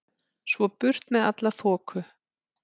Svo burt með alla þoku.